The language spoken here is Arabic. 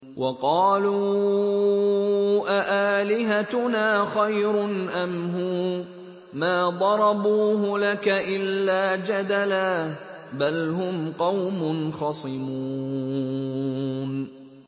وَقَالُوا أَآلِهَتُنَا خَيْرٌ أَمْ هُوَ ۚ مَا ضَرَبُوهُ لَكَ إِلَّا جَدَلًا ۚ بَلْ هُمْ قَوْمٌ خَصِمُونَ